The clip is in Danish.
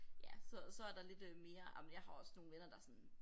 Ja så så er der lidt øh mere ej men jeg har også nogle venner der sådan